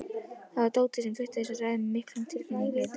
Það var Tóti sem flutti þessa ræðu með miklum tilfinningahita.